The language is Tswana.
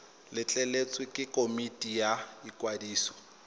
letleletswe ke komiti ya ikwadiso